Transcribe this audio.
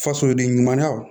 Fasoden ɲumanyaw